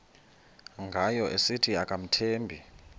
ngayo esithi akamthembi